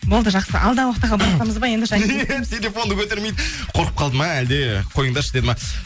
болды жақсы алда уақытта хабарласамыз ба енді телефонды көтермейді қорқып қалды ма әлде қойыңдаршы деді ма